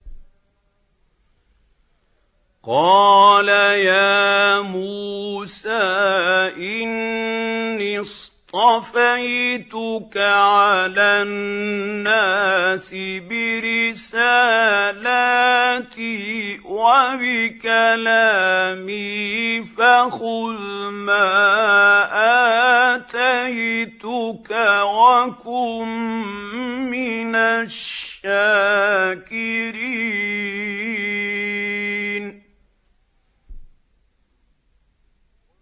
قَالَ يَا مُوسَىٰ إِنِّي اصْطَفَيْتُكَ عَلَى النَّاسِ بِرِسَالَاتِي وَبِكَلَامِي فَخُذْ مَا آتَيْتُكَ وَكُن مِّنَ الشَّاكِرِينَ